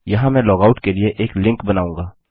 यहाँ मैं लॉगआउट के लिए एक लिंक बनाऊँगा